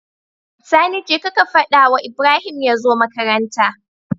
Sani jeka ka fadawa Ibrahim yazo makaranta